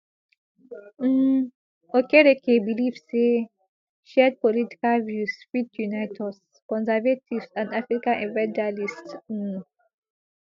um okereke believe say shared political views fit unite us conservatives and african evangelists um